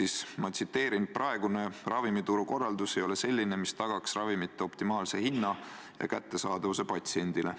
Riigikontroll nimelt leidis, et "praegune ravimituru korraldus ei ole selline, mis tagaks ravimite optimaalse hinna ja kättesaadavuse patsientidele".